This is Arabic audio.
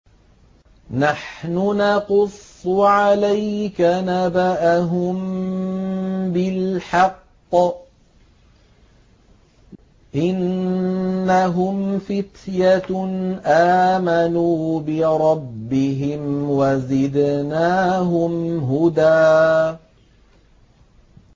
نَّحْنُ نَقُصُّ عَلَيْكَ نَبَأَهُم بِالْحَقِّ ۚ إِنَّهُمْ فِتْيَةٌ آمَنُوا بِرَبِّهِمْ وَزِدْنَاهُمْ هُدًى